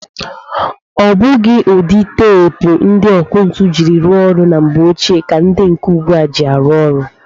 Ọ bụghị ụdị teepu ndị ọkụ ntụ ji rụọ ọrụ na mgbe ochie ka ndị nke ugbua ji arụ ọrụ.